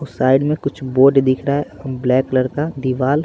और साइड में कुछ बोर्ड दिख रहा है ब्लैक कलर का दीवाल--